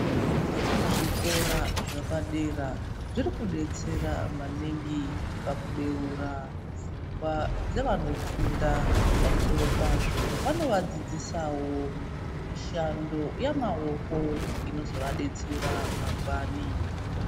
Zvikora zvepadera, zviri kudetsera maningi, pakubeura pfungwa dzevanofunda, pamusoro pazvo ,vanovadzidzisawo mishando yamaoko, inozovadetsera mangwani.